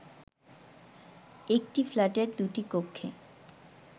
একটি ফ্ল্যাটের দুটি কক্ষে